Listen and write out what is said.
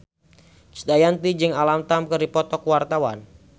Krisdayanti jeung Alam Tam keur dipoto ku wartawan